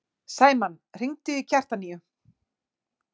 Sæmann, hringdu í Kjartaníu.